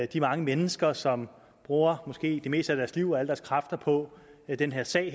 de mange mennesker som bruger måske det meste af deres liv og alle deres kræfter på den her sag og